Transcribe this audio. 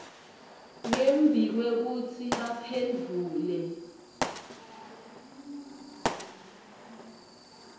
ngembi kwekutsi baphendvule